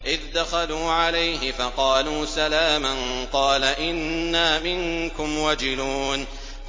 إِذْ دَخَلُوا عَلَيْهِ فَقَالُوا سَلَامًا قَالَ إِنَّا مِنكُمْ وَجِلُونَ